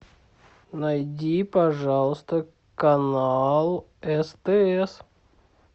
найди пожалуйста канал стс